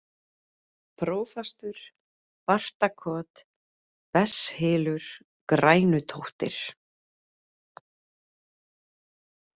Prófastur, Bartakot, Besshylur, Grænutóttir